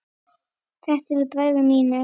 Þetta eru bræður mínir.